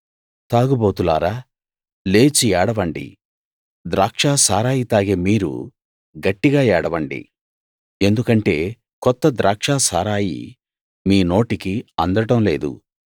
తాగుబోతులారా లేచి ఏడవండి ద్రాక్షసారాయి తాగే మీరు గట్టిగా ఏడవండి ఎందుకంటే కొత్త ద్రాక్షసారాయి మీ నోటికి అందడం లేదు